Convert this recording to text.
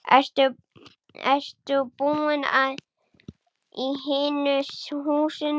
Ertu búinn í hinu húsinu?